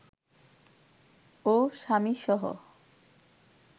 ও স্বামীসহ